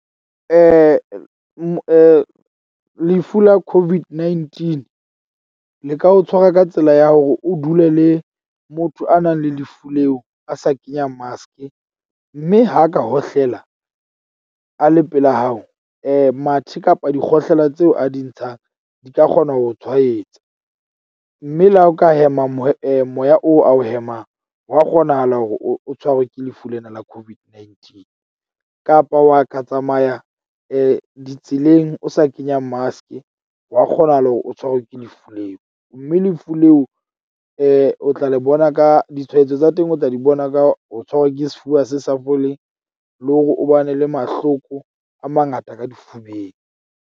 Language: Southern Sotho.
Lefu la COVID-19 le ka o tshwara ka tsela ya hore o dule le motho a nang le lefu leo, a sa kenya mask-e. Mme ha ka hohlela a le pela hao mathe kapa dikgohlela tseo a di ntshang di ka kgona ho tshwaetsa. Mme le ha o ka hema moya moya oo a ho hemang, hwa kgonahala hore o tshwarwe ke lefu lena la COVID-19 kapa wa ka tsamaya ditseleng o sa kenya mask-e wa kgonahala hore o tshwarwe ke lefu leo. Mme lefu leo o tla le bona ka ditshwaetso tsa teng, o tla di bona ka ho tshwarwa ke sefuba se sa foleng, le hore o ba ne le mahloko a mangata ka difubeng.